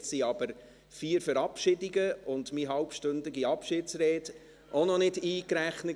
Da waren aber vier Verabschiedungen und meine halbstündige Abschiedsrede auch noch nicht mit eingerechnet.